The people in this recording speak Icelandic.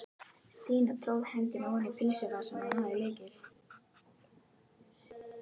Stína tróð hendinni oní pilsvasann og náði í lykil.